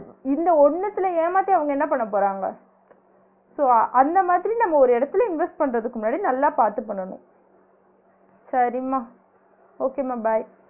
இந்த ஒன்னுத்ல ஏமாத்தி அவுங்க என்ன பண்ண போறாங்க so அந்த மாதிரி நம்ம ஒரு இடத்துல invest பண்ணுறதுக்கு முன்னாடி நல்லா பாத்து பண்ணனும் சரிமா okay மா bye